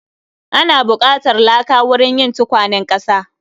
Ana buƙatar laka wurin yin tukwanen ƙasa